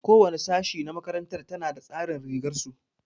Ko wani sashi na makarantar ta na da tsarin rigar su.